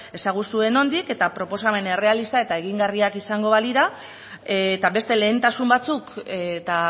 ezaguzue nondik eta proposamen errealista eta egingarriak izango balira eta beste lehentasun batzuk eta